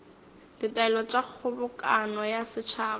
ditaelo tša kgobokano ya setšhaba